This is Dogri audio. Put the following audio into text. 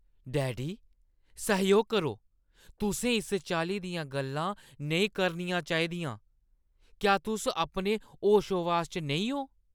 डैडी, सैह्‌योग करो। तुसें इस चाल्ली दियां गल्लां नेईं करनियां चाहिदियां। क्या तुस अपने होशोहवास च नेईं ओ?